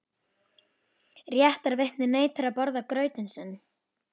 Réttarvitnið neitar að borða grautinn sinn.